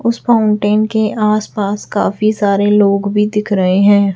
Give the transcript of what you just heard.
उस फाउंटेन के आस पास काफी सारे लोग भी दिख रहे हैं।